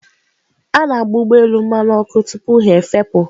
A na-agba ụgbọ elu mmanụ ọkụ tupu ha efepụ.